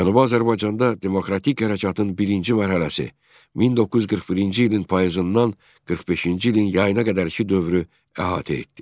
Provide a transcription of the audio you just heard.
Cənubi Azərbaycanda demokratik hərəkatın birinci mərhələsi 1941-ci ilin payızından 45-ci ilin yayına qədərki dövrü əhatə etdi.